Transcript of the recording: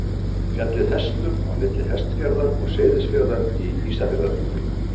Fjallið Hestur á milli Hestfjarðar og Seyðisfjarðar í Ísafjarðardjúpi.